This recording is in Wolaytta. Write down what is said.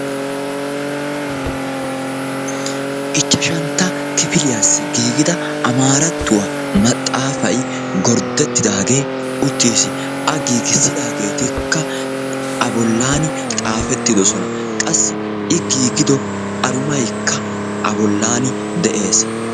Ichchashantta kifiliyassi giigida amaarattuwa maxaafayi gorddettidaagee uttis. A giigissidaageetikka a bollan xaafettidosona. Qassi i giigido arumaykka a bollan de"es.